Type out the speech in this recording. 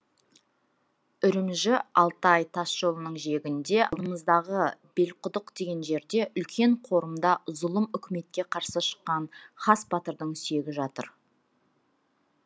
үрімжі алтай тас жолының жиегінде алдымыздағы белқұдық деген жерде үлкен қорымда зұлым үкіметке қарсы шыққан хас батырдың сүйегі жатыр